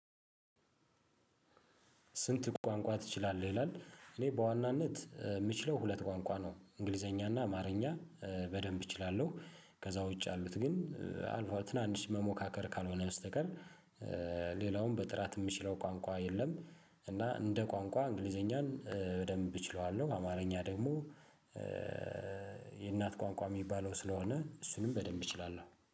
ስንት ቋንቋ ትችላለህ ይላል? እኔ በዋናነት ምችለው ሁለት ቋንቋ ነው እንግሊዘኛና አማርኛ በደንብ እችላለሁ። ከዛ ውጪ ያሉት ግን አልፎ ትናንሽ መሞካከር ካልሆነ በስተቀር። ሌላውም በጥራት ምችለው ቋንቋ የለም። እና እንደ ቋንቋ እንግሊዘኛን በደንብ እችለዋለሁ አማርኛ ደግሞ። የእናት ቋንቋ ሚባለው ስለሆነ እሱንም በደንብ እችላለሁ